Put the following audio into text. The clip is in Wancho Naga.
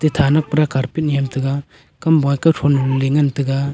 yathanak pra carpet nyam tega kamboi kia thonglole nganlay tega.